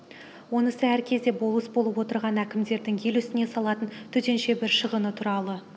онысы әр кезде болыс болып отырған әкімдердің ел үстіне салатын төтенше бір шығыны туралы